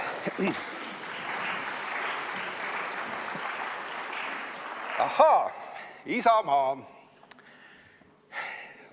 Ahaa, Isamaa.